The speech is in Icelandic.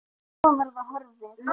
En svo var það horfið.